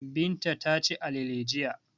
Binta ta ci alale jiya.